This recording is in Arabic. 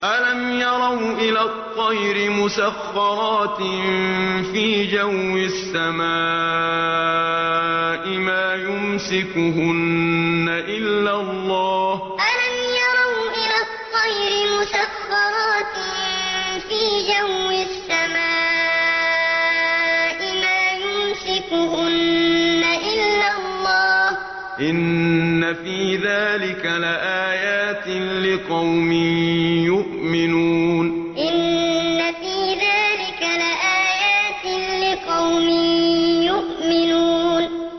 أَلَمْ يَرَوْا إِلَى الطَّيْرِ مُسَخَّرَاتٍ فِي جَوِّ السَّمَاءِ مَا يُمْسِكُهُنَّ إِلَّا اللَّهُ ۗ إِنَّ فِي ذَٰلِكَ لَآيَاتٍ لِّقَوْمٍ يُؤْمِنُونَ أَلَمْ يَرَوْا إِلَى الطَّيْرِ مُسَخَّرَاتٍ فِي جَوِّ السَّمَاءِ مَا يُمْسِكُهُنَّ إِلَّا اللَّهُ ۗ إِنَّ فِي ذَٰلِكَ لَآيَاتٍ لِّقَوْمٍ يُؤْمِنُونَ